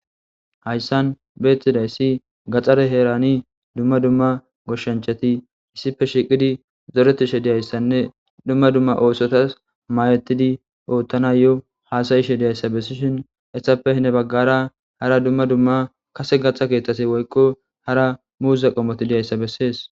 Hayssan beettiday si gaxxare heerani dumma dumma goshshanchati issipe shiqidi zoretishe diyayssanne dumma dumma oosotas mayetidi oottana yo haasayishe diyayssa bessishin essappe ne baggara hara dumma dumma kase gatha keeththase woykqo hara muuza qomoti diyayssa bessees.